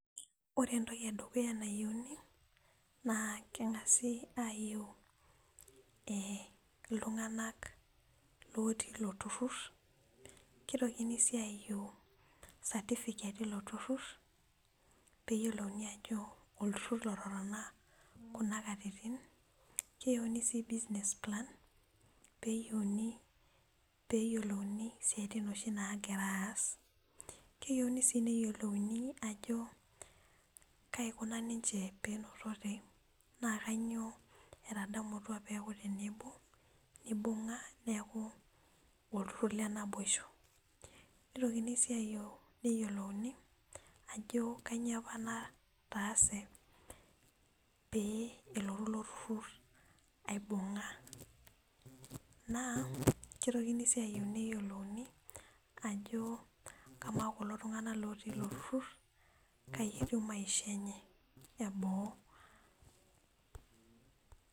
Ore entoki edukuya nayieuni naa keng'asi ayieu eh iltung'anak otii ilo turrur kitokini sii ayieu certificate ilo turrur peyiolouni ajo olturrur lototona kuna katitin keyieuni sii business plan peyieuni, peyielouni isiaitin oshi nagira aas keyieuni sii neyiolouni ajo kaikuna ninche penotote naa kanyio etadamutua peeku tenebo nibung'a neeku olturrur le naboisho nitokini sii ayieu neyiolouni ajo kanyio apa nataase pee elotu ilo turrur aibung'a naa kitokini sii ayieu neyiolouni ajo kamaa kulo tung'anak lotii ilo turrrur kai etiu maisha enye eboo.